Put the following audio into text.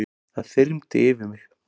Það þyrmdi yfir mig.